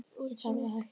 Verð þarf að hækka